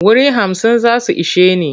Wuri hamsin za su ishe ni.